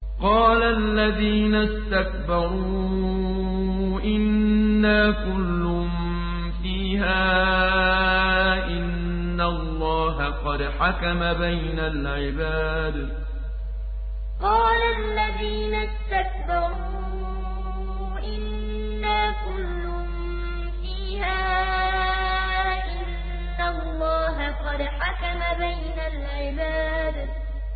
قَالَ الَّذِينَ اسْتَكْبَرُوا إِنَّا كُلٌّ فِيهَا إِنَّ اللَّهَ قَدْ حَكَمَ بَيْنَ الْعِبَادِ قَالَ الَّذِينَ اسْتَكْبَرُوا إِنَّا كُلٌّ فِيهَا إِنَّ اللَّهَ قَدْ حَكَمَ بَيْنَ الْعِبَادِ